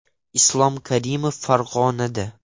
Islom Karimov Farg‘onada.